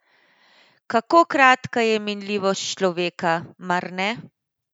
Kako kratka je minljivost človeka, mar ne?